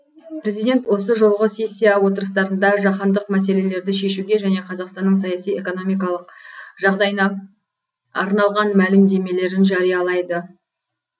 президент осы жолғы сессия отырыстарында жаһандық мәселелерді шешуге және қазақстанның саяси экономикалық жағдайына арналған мәлімдемелерін жариялайды